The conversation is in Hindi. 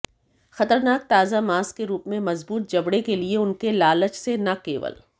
खतरनाक ताजा मांस के रूप में मजबूत जबड़े के लिए उनके लालच से न केवल